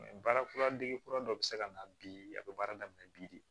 baara kura dege dɔ bɛ se ka na bi a bɛ baara daminɛ bi de